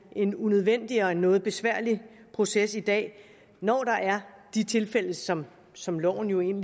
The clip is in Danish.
en unødvendig og noget besværlig proces i dag når der er de tilfælde som som loven